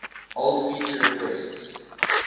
old feature requests